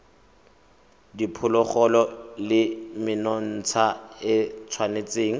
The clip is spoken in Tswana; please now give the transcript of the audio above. diphologolo le menontsha e tshwanetse